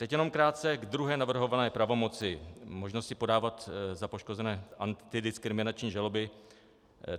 Teď jenom krátce k druhé navrhované pravomoci, možnosti podávat za poškozené antidiskriminační žaloby.